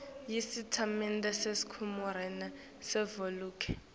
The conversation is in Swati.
yesitatimende sekharikhulamu savelonkhe